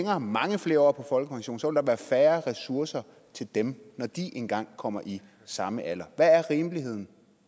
har mange flere år på folkepension vil der være færre ressourcer til dem når de engang kommer i samme alder hvad er rimeligheden